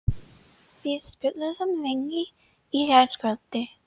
Við spjölluðum lengi í gærkvöldi.